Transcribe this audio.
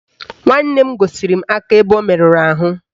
Nwanne m gosiri m aka ebe o merụrụ ahụ